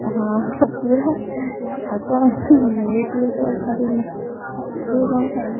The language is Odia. ହଁ ହଁ ପୁରା ଆଉ କଣ ମିଳିଛି ଯେତେବେଳେ ଆଉ ଛାଡ଼ିବୁନା, ତୁ କଣ ଖାଇଲୁ?